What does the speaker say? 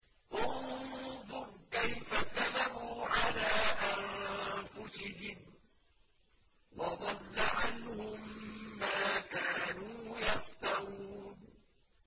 انظُرْ كَيْفَ كَذَبُوا عَلَىٰ أَنفُسِهِمْ ۚ وَضَلَّ عَنْهُم مَّا كَانُوا يَفْتَرُونَ